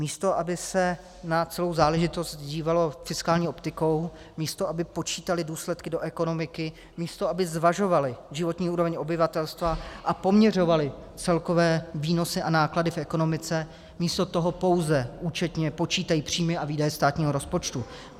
Místo aby se na celou záležitost dívalo fiskální optikou, místo aby počítali důsledky do ekonomiky, místo aby zvažovali životní úroveň obyvatelstva a poměřovali celkové výnosy a náklady v ekonomice, místo toho pouze účetně počítají příjmy a výdaje státního rozpočtu.